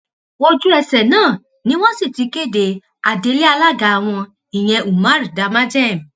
ojúẹsẹ náà ni wọn sì ti kéde adelé alága wọn ìyẹn umar damagem